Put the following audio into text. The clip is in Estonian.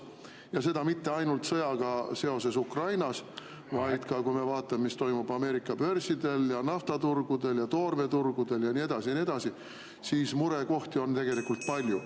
Ja seda mitte ainult seoses sõjaga Ukrainas, vaid kui me vaatame, mis toimub Ameerika börsidel ja naftaturgudel ja toormeturgudel ja nii edasi ja nii edasi, siis murekohti on tegelikult palju.